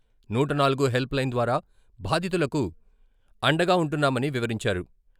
నూట నాలుగు help line ద్వారా బాధితులకు అండగా ఉంటున్నామని వివరించారు.